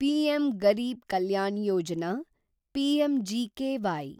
PM Garib Kalyan Yojana (PMGKY)